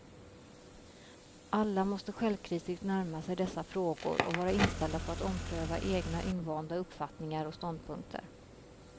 Alla måste självkritiskt närma sig dessa frågor och vara inställda på att ompröva egna invanda uppfattningar och ståndpunkter.